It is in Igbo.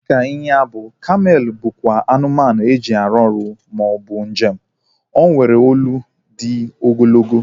Dịka ịnyịnya ibu, kamel bụkwa anụmanụ e ji eje ọrụ maọbụ njem. O nwere olu dị ogologo